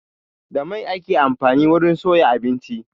Da mai ake amfani wurin soya abinci.